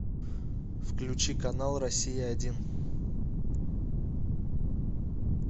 включи канал россия один